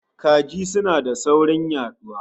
Kaji suna da saurin yaduwa